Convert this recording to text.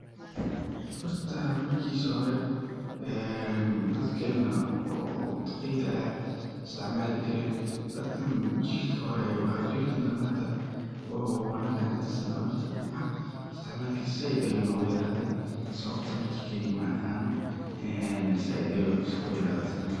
Horta, markiisa hore, dadkeena oo duqeyd ayaa isticmaalijireen. Dadkan, jiilka hore ayuu ahaa. Jiilkan dambe, hadda oo aniga ann ka tirsanahay, naftarkeena isticmaalka saaid ayuu nogu yeraadey. Sababta naftayda ma aqaano; saaid ayuu u yareedey isticmaalka.